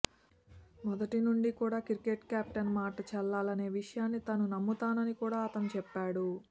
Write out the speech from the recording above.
మొదటి నుంచి కూడా క్రికెట్లో కెప్టెన్ మాట చెల్లాలనే విషయాన్ని తాను నమ్ముతానని కూడా అతను చెప్పాడు